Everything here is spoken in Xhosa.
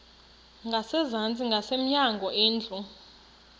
ngasezantsi ngasemnyango indlu